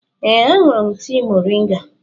Ee, aṅụrụ m tii moringa